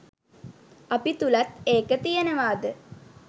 අපි තුළත් ඒක තියෙනවාද